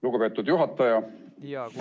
Lugupeetud juhataja!